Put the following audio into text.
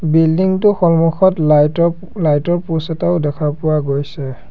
Building টো সন্মুখত light ৰ লাইট ৰ প'ষ্ট এটাও দেখা পোৱা গৈছে।